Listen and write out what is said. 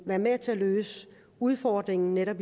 være med til at løse udfordringen netop